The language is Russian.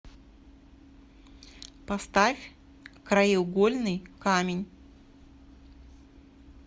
поставь краеугольный камень